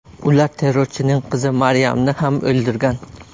Ular terrorchining qizi Maryamni ham o‘ldirgan.